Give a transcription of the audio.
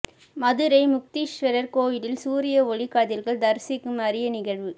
மதுரை முக்தீஸ்வரர் கோயிலில் சூரிய ஒளி கதிர்கள் தரிசிக்கும் அரிய நிகழ்வு